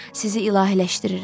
Sizi ilahiləşdirirəm.